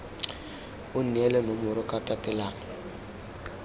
o neele nomoro ka tatelano